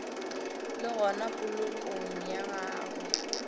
le gona polokong ya gagwe